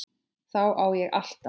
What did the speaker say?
Þá á ég alltaf.